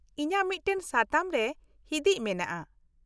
-ᱤᱧᱟᱹᱜ ᱢᱤᱫᱴᱟᱝ ᱥᱟᱛᱟᱢ ᱨᱮ ᱦᱤᱫᱤᱪ ᱢᱮᱱᱟᱜᱼᱟ